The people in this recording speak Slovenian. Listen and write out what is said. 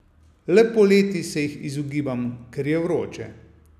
Le poleti se jih izogibam, ker je vroče.